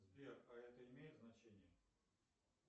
сбер а это имеет значение